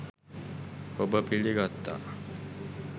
ඔබ පිළිගත්තා